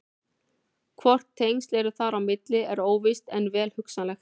Hvort tengsl eru þar á milli er óvíst en vel hugsanlegt.